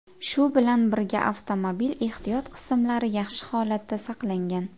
Shu bilan birga, avtomobil ehtiyot qismlari yaxshi holatda saqlangan.